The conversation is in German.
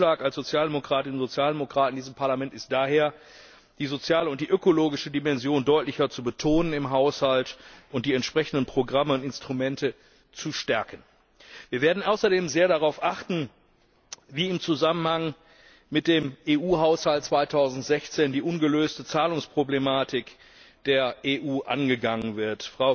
Unser Vorschlag als Sozialdemokratinnen und Sozialdemokraten in diesem Parlament ist daher, die soziale und ökologische Dimension im Haushalt deutlicher zu betonen und die entsprechenden Programme und Instrumente zu stärken. Wir werden außerdem sehr darauf achten, wie im Zusammenhang mit dem EU Haushalt 2016 die ungelöste Zahlungsproblematik der EU angegangen wird.